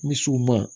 Misiw ma